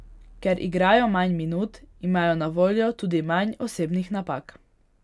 Ker igrajo manj minut, imajo na voljo tudi manj osebnih napak.